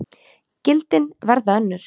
Gildin verða önnur.